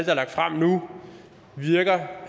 er lagt frem nu virker